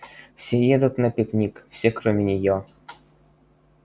все едут на пикник все кроме нее